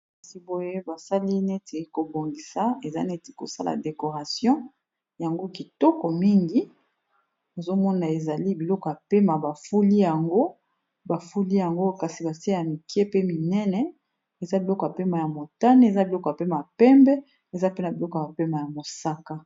kasi boye basali neti kobongisa eza neti kosala decoration yango kitoko mingi ozomona ezali biloko pema bafuli yango bafuli yango kasi batie ya mike pe minene eza biloko mpema ya motane eza biloka pe mapembe eza pena biloko ampema ya mosaka